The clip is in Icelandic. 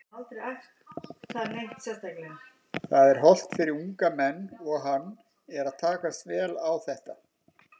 Það er hollt fyrir unga menn og hann er að takast vel á þetta.